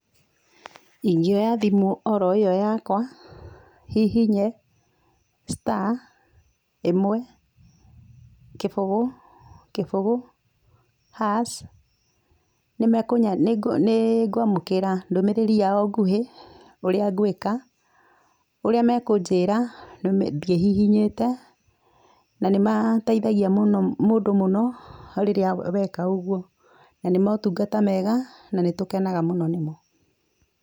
Ingĩoya thimũ oro ĩyo yakwa hihinye star ĩmwe kĩbũgũ kĩbũgũ hash nĩngwamũkĩra ndũmĩrĩri yao ngũhĩ ũrĩa ngwĩka, ũria mekũnjĩra thiĩ hihinyĩte na nĩ mateithagia mũndũ mũno rĩrĩa weka ũgũo. Na nĩ maũtũngata mega, na nĩ tũkenaga mũno nĩmo.